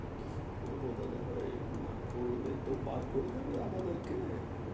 কি করবো দাদা ভাই না করতে তো বার করে দেবে আমাদের কে